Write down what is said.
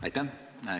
Aitäh!